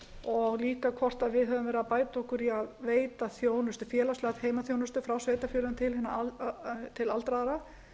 og líka hvort við höfum verið að bæta okkur í að veita félagslega heimaþjónustu frá sveitarfélögum til aldraðra